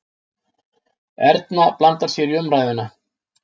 Erna blandar sér í umræðuna.